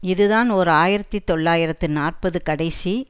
இதுதான் ஓர் ஆயிரத்தி தொள்ளாயிரத்து நாற்பது கடைசி